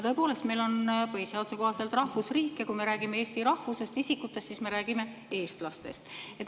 Tõepoolest, meil on põhiseaduse kohaselt rahvusriik, ja kui me räägime eesti rahvusest isikutest, siis me räägime eestlastest.